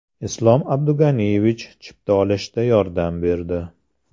Islom Abdug‘aniyevich chipta olishda yordam berdi.